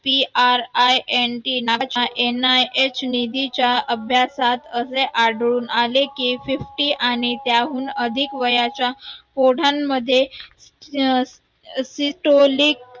PRINT नाच्या NIH निधीच्या अभ्यासात असे आढळून आले कि fifty आणि त्याहून अधिक वयाच्या ओढ्यांमध्ये सिटोळीक